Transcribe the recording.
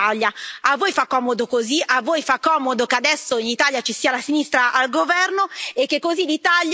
A voi fa comodo che adesso in Italia ci sia la sinistra al governo e che così l'Italia sia il campo profughi d'Europa.